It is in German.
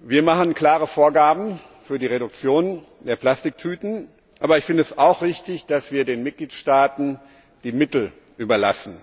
Wir machen klare Vorgaben für die Reduktion der Plastiktüten, aber ich finde es auch richtig, dass wir den Mitgliedstaaten die Mittel überlassen